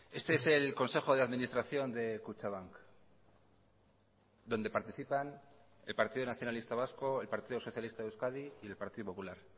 este es el consejo de administración de kutxabank donde participan el partido nacionalista vasco el partido socialista de euskadi y el partido popular